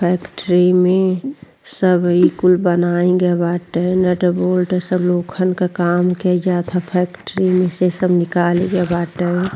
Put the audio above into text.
Factory में सब ई कुल बनाही के बाटे। नट बोल्ट सब के काम के ई जात ह फैक्ट्री में से सब निकाली के बाटे।